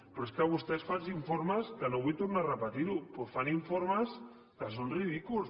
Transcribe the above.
però és que vostès fan uns informes que no vull tornar a repetir ho però fan informes que són ridículs